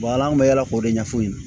an bɛ yala k'o de ɲɛf'u ɲɛna